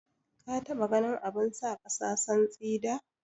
Ka taɓa ganin abun sa kasa santsi da?